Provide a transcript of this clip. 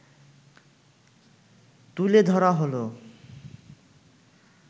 তুলে ধরা হলো